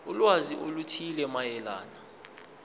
ulwazi oluthile mayelana